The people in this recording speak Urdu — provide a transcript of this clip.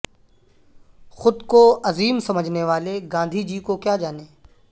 خود کو عظیم سمجھنے والے گاندھی کو کیا جانیں